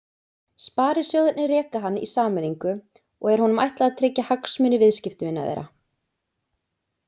Sparisjóðirnir reka hann í sameiningu og er honum ætlað að tryggja hagsmuni viðskiptavina þeirra.